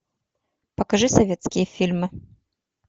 покажи советские фильмы